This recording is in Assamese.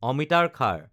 অমিতাৰ খাৰ